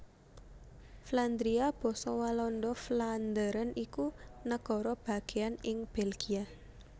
Flandria basa Walanda Vlaanderen iku nagara bagéan ing Belgia